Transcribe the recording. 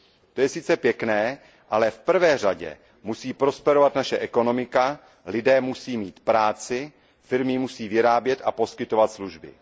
To je sice pěkné, ale v první řadě musí prosperovat naše ekonomika, lidé musí mít práci, firmy musí vyrábět a poskytovat služby.